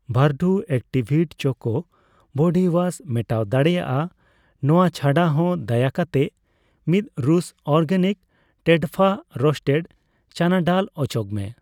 ᱵᱷᱟᱹᱨᱰᱩ ᱮᱠᱴᱤᱵᱷᱤᱴ ᱪᱚᱠᱚ body wash ᱢᱮᱴᱟᱣ ᱫᱟᱲᱮᱭᱟᱜᱼᱟ ᱱᱚᱣᱟ ᱪᱷᱟᱰᱟᱦᱚᱸ ᱫᱟᱭᱟ ᱠᱟᱛᱮᱜ ᱢᱤᱫ ᱨᱩᱥ ᱚᱨᱜᱟᱱᱤᱠ ᱴᱮᱰᱯᱷᱟ ᱨᱚᱥᱴᱮᱰ ᱪᱟᱱᱟᱰᱟᱞ ᱚᱪᱚᱜᱢᱮ ᱾